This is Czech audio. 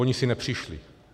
Oni si nepřišli.